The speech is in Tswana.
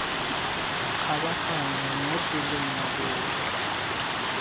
makgabaganyong mo tseleng ya botlhe